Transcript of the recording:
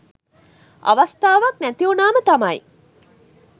අවස්ථාවක් නැති උනාම තමයි